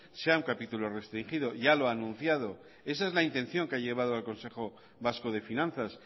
sea un capítulo restringido ya lo ha anunciado esa es la intención que ha llevado al consejo vasco de finanzas